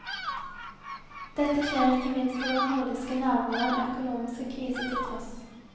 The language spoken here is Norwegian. Dette skjer ikke minst i våre nordiske naboland, økonomiske kriser til tross.